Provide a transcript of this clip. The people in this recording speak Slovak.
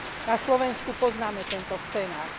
Na Slovensku poznáme tento scenár.